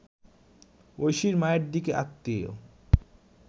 ঐশীর মায়ের দিকের আত্মীয়